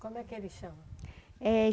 Como é que ele chama? É...